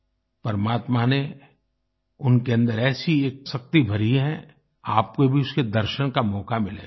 परमात्मा ने उनके अन्दर एक ऐसी शक्ति भरी है आपको भी उसके दर्शन का मौका मिलेगा